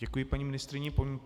Děkuji paní ministryni.